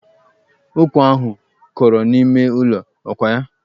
Ụkwa ahụ kọrọ n'ime ụlọ, ọ kwa ya?